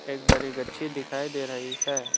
एक बरी गच्छी दिखाई दे रही है।